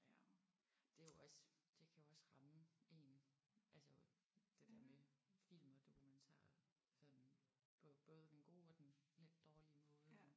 Ja. Det er jo også det kan jo også ramme en altså det der med film og dokumentarer sådan på både den gode og den lidt dårlige måde